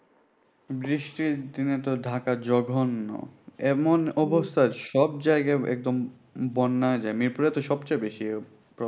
বৃষ্টির দিনে তো ঢাকা জঘন্য এমন সব জায়গায় একদম বন্যা হয়ে যায় মিরপুরে তো সবচেয়ে বেশি problem